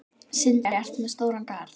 Sindri: Ertu með stóran garð?